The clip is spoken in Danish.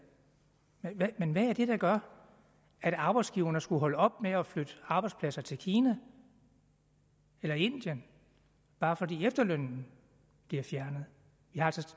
men men hvad er det der gør at arbejdsgiverne skulle holde op med at flytte arbejdspladser til kina eller indien bare fordi efterlønnen bliver fjernet jeg